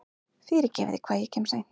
Fyrirgefiði hvað ég kem seint.